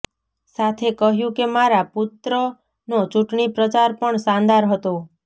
સાથે કહ્યું કે મારા પુત્રનો ચૂંટણી પ્રચાર પણ શાનદાર હતો